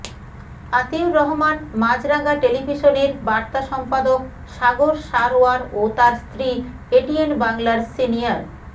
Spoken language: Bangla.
আতিউর রহমান মাছরাঙা টেলিভিশনের বার্তা সম্পাদক সাগর সারওয়ার ও তার স্ত্রী এটিএন বাংলার সিনিয়র